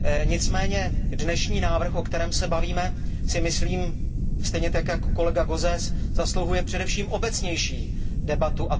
Nicméně dnešní návrh, o kterém se bavíme, si myslím, stejně tak jako kolega Gauzès, zasluhuje především obecnější debatu.